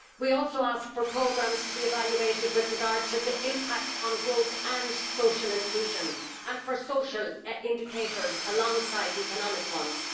We also ask for programmes to be evaluated with regard to the impacts on growth and social inclusion, and for social indicators alongside economic ones.